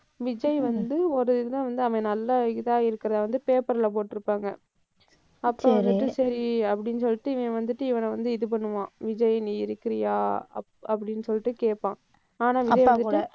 விஜய் வந்து ஒரு இதில வந்து அவன் நல்ல இதா இருக்கிறதை வந்து paper ல போட்டிருப்பாங்க. அப்போ வந்துட்டு சரி அப்படின்னு சொல்லிட்டு இவன் வந்துட்டு இவனை வந்து இது பண்ணுவான். விஜய் நீ இருக்கிறியா? அப்~ அப்படின்னு சொல்லிட்டு கேட்பான். ஆனா விஜய் வந்துட்டு,